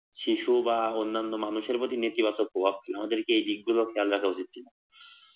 শিশু বা মানুষের ওপর প্রভাব না খেলে আমাদের এদিকেও খেয়াল রাখা উচিত ছিল